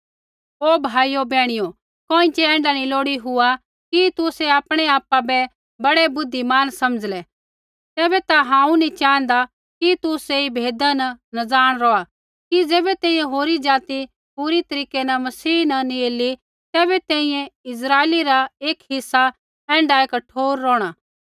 ओ भाइयो बैहणियो कोइँछ़ै ऐण्ढा नी लोड़ी हुआ कि तुसै आपणै आपा बै बड़ै बुद्धिमान समझ़लै तैबै ता हांऊँ नी च़ाँहदा कि तुसै ऐई भेदा न नज़ाण रौहा कि ज़ैबै तैंईंयैं होरी ज़ाति पूरै तरीकै न मसीह न नैंई ऐली तैबै तैंईंयैं इस्राइली रा एक हिस्सा ऐण्ढाऐ कठोर रौहणा